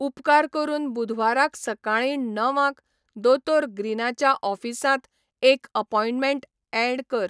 उपकार करून बुधवाराक सकाळीं णवांक दोतोर ग्रीनाच्या ऑफिसांत एक अपॉइंटमेंट ऍड कर